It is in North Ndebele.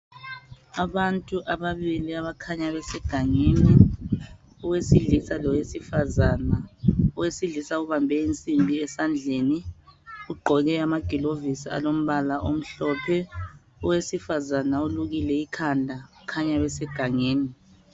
Abantu ababili abakhanya besegangeni, owesilisa lowesifazane. Owesilisa ubambe insimbi esandleni, ugqoke amagilovisi alombala omhlophe. Owesifazane ulukile ikhanda kukhanya besegangeni.